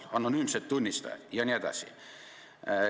" Te mainisite anonüümseid tunnistajaid jne.